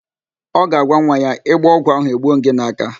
Ọ ga-agwa nwa ya, ị gbọọ ọgwụ ahụ, egbuo m gị n'áká